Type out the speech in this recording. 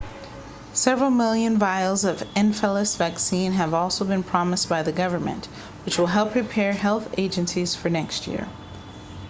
several million vials of encephalitis vaccine have also been promised by the government which will help prepare health agencies for next year